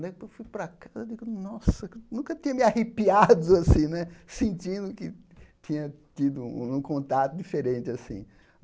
Depois fui para casa, digo nunca que tinha me arrepiado assim né, sentindo que tinha tido um um contato diferente assm.